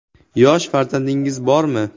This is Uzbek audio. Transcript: Yosh farzandingiz bormi ?